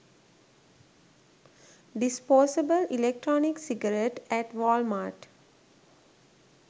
disposable electronic cigarette at walmart